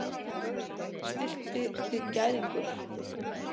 Stilltu þig gæðingur.